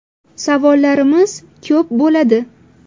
Savollarimiz ko‘p bo‘ladi.